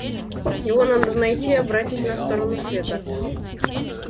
его надо найти и обратить на сторону света